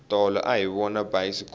tolo a hi vona bayisikopo